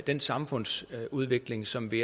den samfundsudvikling som vi